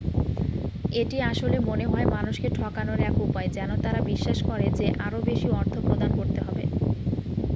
এটি আসলে মনে হয় মানুষকে ঠকানোর এক উপায় যেন তারা বিশ্বাস করে যে আরো বেশি অর্থ প্রদান করতে হবে